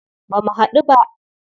Ba mu haɗu ba.